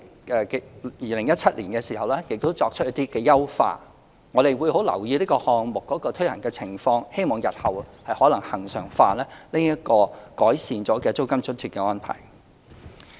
在2017年亦作出了一些優化，我們會留意這項目的推行情況，日後可能恆常化這個改善租金津貼的安排。